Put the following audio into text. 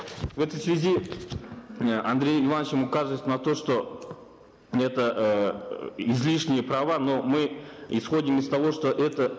в этой связи э андрееем ивановичем указывается на то что это э излишние права но мы исходим из того что это